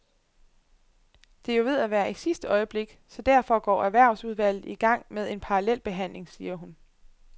Det er jo ved at være i sidste øjeblik, så derfor går erhvervsudvalget i gang med en parallel behandling, siger hun.